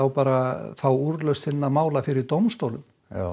bara að fá úrlausn sinna mála fyrir dómstólum